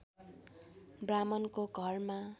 ब्राह्मणको घरमा